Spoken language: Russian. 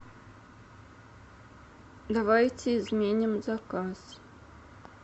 давайте изменим заказ